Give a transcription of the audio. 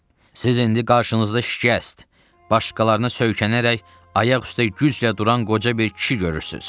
Siz indi qarşınızda şikəst, başqalarına söykənərək ayaq üstə güclə duran qoca bir kişi görürsüz.